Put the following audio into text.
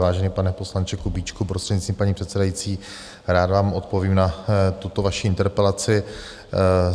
Vážený pane poslanče Kubíčku, prostřednictvím paní předsedající, rád vám odpovím na tuto vaši interpelaci.